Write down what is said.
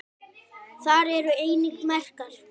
Þar eru einnig merkar